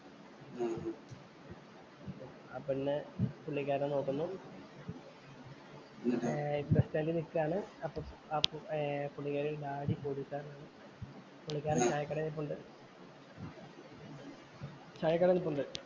ആ പെണ്ണ് പുള്ളിക്കാരനെ നോക്കുന്നു. ഏർ ബസ് സ്റ്റാൻഡിൽ ഇല്‍ നിക്കുവാണ്. അപ്പൊ ഏർ പുള്ളിക്കാരിയുടെ ഡാഡി പോലീസുകാരനാണ്. പുള്ളിക്കാരന്‍ ചായക്കടയില്‍ നിപ്പുണ്ട്. ചായക്കടയില്‍ നിപ്പുണ്ട്.